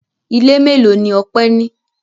Ilé mélòó ni Ọpẹ́ ní?